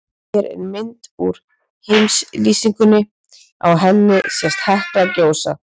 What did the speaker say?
Hér er mynd úr heimslýsingunni, á henni sést Hekla gjósa.